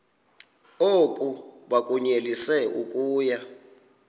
oku bakunyelise okuya